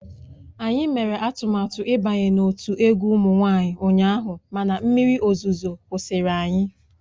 Anyị mere atụmatụ ịbanye n'otu egwu ụmụ nwanyị ụnyaahụ mana mmiri ozuzo kwụsịrị anyị